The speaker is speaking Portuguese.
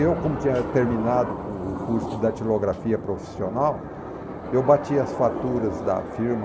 Eu, como tinha terminado o curso de datilografia profissional, eu bati as faturas da firma.